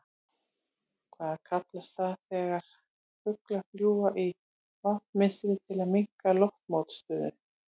Hvað kallast það þegar fuglar fljúga í V mynstri til að minnka loftmótstöðu?